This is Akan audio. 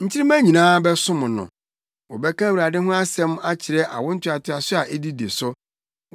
Nkyirimma nyinaa bɛsom no; wɔbɛka Awurade ho asɛm akyerɛ awo ntoatoaso a edidi so.